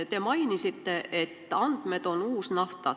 Te mainisite, et andmed on uus nafta.